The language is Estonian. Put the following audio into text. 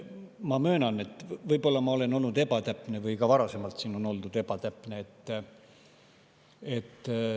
Ma möönan, et võib-olla ma olen olnud ebatäpne või on siin ka varasemalt oldud ebatäpne.